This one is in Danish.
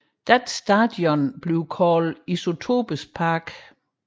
Deres stadion er kaldet Isotopes Park